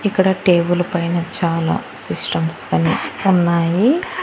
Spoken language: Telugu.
ఇక్కడ టేబుల్ పైన చాలా సిస్టమ్స్ కనిపి ఉన్నాయి.